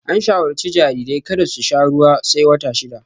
An shawarci jarirai kada su sha ruwa sai wata shida